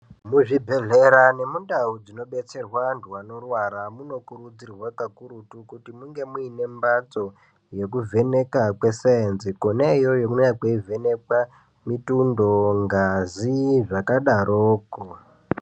Muzvibhedhlera nemundau dzinobetserwa antu anorwara munokurudzirwa kakurutu kuti munge muine mbatso yekuvheneka kwesaenzi. Kona iyoyo kune kweivhenekwa mitundo, ngazi zvakadaroko.